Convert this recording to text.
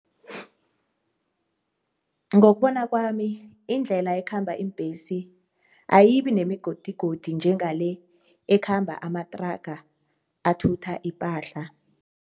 Ngokubona kwami indlela ekhamba iimbesi ayibi nemigodigodi njengale ekhamba amatraga athutha ipahla.